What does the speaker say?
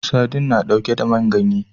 Sadin na ɗauke da man ganye